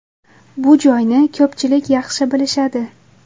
Bu joyni ko‘pchilik yaxshi bilishadi.